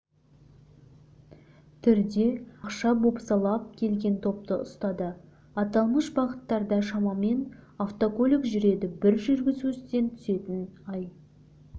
түрде ақша бопсалап келген топты ұстады аталмыш бағыттарда шамамен автокөлік жүреді бір жүргізушіден түсетін ай